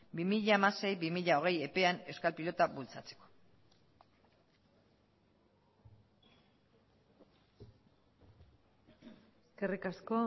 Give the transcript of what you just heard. bi mila hamasei bi mila hogei epean euskal pilota bultzatzeko eskerrik asko